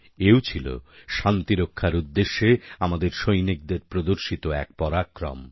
এও ছিল শান্তিরক্ষার উদ্দেশ্যে আমাদের সৈনিকদের প্রদর্শিত এক পরাক্রম